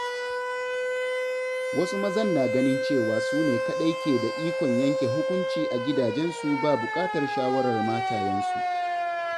Wasu mazan na ganin cewa su ne kaɗai ke da ikon yanke hukunci a gidajensu ba buƙatar shawarar matayensu.